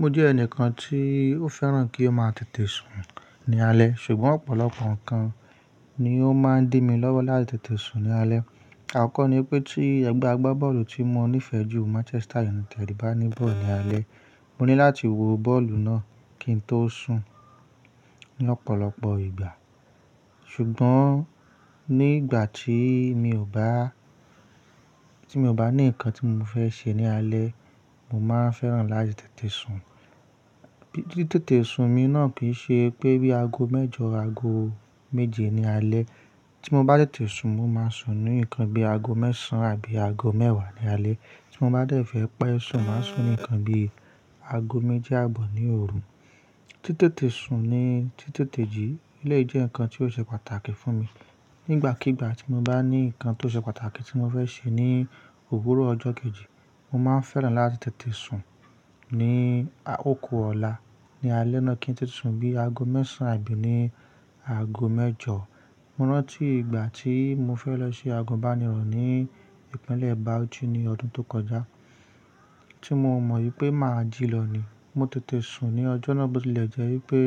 Mo jẹ́ ẹnìkan tí ó fẹ́ràn kí ó máa tètè sùn ní alẹ́, ṣùgbọ́n ọ̀pọ̀lọpọ̀ nǹkan ni ó máa ń dí mi lọ́wọ́ láti tètè sùn ní alẹ́. Àkọ́kọ́ ni pé tí ẹgbẹ́ agbábọ́ọ̀lù tí mo nífẹ̀ẹ́ jù Manchester United bá ní bọ́ọ̀lù alẹ́, mo ní láti wo bọ́ọ̀lù náà kí n tó sùn ní ọ̀pọ̀lọpọ̀ ìgbà. Ṣùgbọ́n nígbà tí mi ò bá, tí mi ò bá ní nǹkan tí mo fẹ́ ṣe ní alẹ́, mo máa fẹ́ràn láti tètè sùn. Títètè sùn mi náà kì í ṣe pé bí i aago mẹ́jọ, aago méje ní alẹ́. Tí mo bá tètè sùn, mo máa sùn ní nǹkan bí i aago mẹ́sàn án àbí aago mẹ́wàá ní alẹ́. Tí mo bá dẹ̀ fẹ́ pẹ́ sùn, màá sùn ní nǹkan bí i aago méjì àbọ̀ ní òru. Títètè sùn ni títètè jí, eléyi jẹ́ nǹkan tí ó ṣe pàtàkì fún mi. Nígbàkígbà tí mo bá ní nǹkan tó ṣe pàtàkì tí mo fẹ́ ṣe ní òwúrọ̀ ọjọ́ kejì, mo máa fẹ́ràn láti tètè sùn ní oku ọ̀la. Ni alẹ́ náà kí n tètè sùn bí i aago mẹ́sàn án àbí ní aago mẹ́jọ. Mo rántí ìgbà tí mo fẹ́ lọ ṣe àgùnbánirọ̀ ní ìpínlẹ̀ Bauchi ní ọdún tó kọjá tí mo mọ̀ wípé mà á jí lọ ni. Mo tètè sùn ní ọjọ́ náà bótilẹ̀ jẹ́ wípé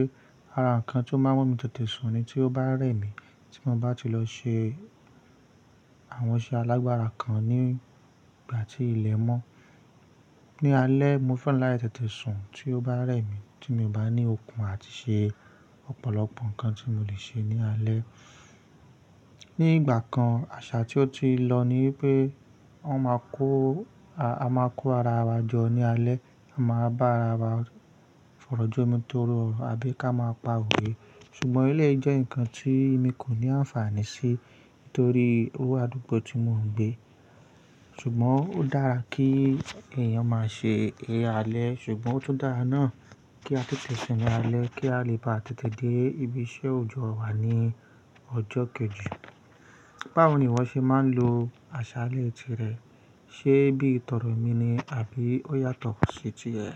àrà nkán tó máa mú mi tètè sùn ni tí ó bá rẹ́ mi tí mo bá ti lọ ṣe àwọn iṣẹ́ alágbára kan nígbà tí ilẹ̀ mọ́. Ni alẹ́ mo fẹ́ràn láti tètè sùn tí ó bá rẹ́ mi tí mi ò bá ní okun àti ṣe ọ̀pọ̀lọpọ̀ nǹkan tí mo lè ṣe ní alẹ́. Ní ìgbà kan àṣà tí ó ti lọ ni wípé wọ́n ma kó, a máa kó ara wa jọ ní alẹ́, a máa bá ara wa fọ̀rọ́ jomitoro ọ́rọ́ àbí ká máa pa òwe. Ṣùgbọ́n eléyi jẹ́ nǹkan tí mi kò ní àǹfààní sí torí iru àdúgbò tí mò ń gbé. Ṣùgbọ́n ó dára kí èèyàn máa ṣe eré alẹ́ ṣùgbọ́n ó tún dára náà kí a tètè sùn ní alẹ́ kí a lè bá tètè dé ibi iṣẹ́ òjọ́ wa ní ọjọ́ kejì. Báwo ni ìwọ ṣe máa ń lo àṣà alẹ́ tirẹ̀? Ṣé bí i tọdọ èmi ni àbí ó yàtọ̀ sí ti ẹ?